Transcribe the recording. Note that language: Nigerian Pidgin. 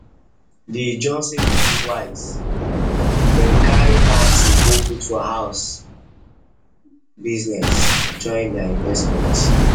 di johnson people wise dem carry thirty go put for house biz join their investment